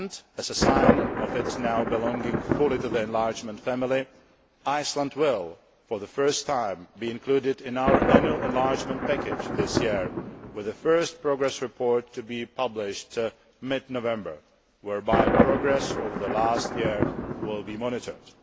As a sign of it now belonging fully to the enlargement family, Iceland will, for the first time, be included in our annual enlargement package this year, with the first progress report to be published mid November, whereby progress over the last year will be monitored.